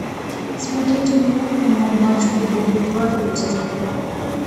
смотреть онлайн канал матч футбол два эйч ди